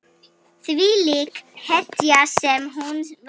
Þvílík hetja sem hún var.